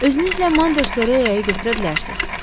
Özünüzlə Manderslə Relyaya götürə bilərsiniz.